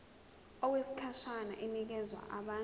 okwesikhashana inikezwa abantu